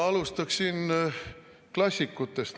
Ma alustan klassikutest.